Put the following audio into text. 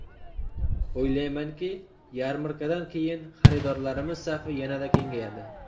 O‘ylaymanki, yarmarkadan keyin xaridorlarimiz safi yanada kengayadi.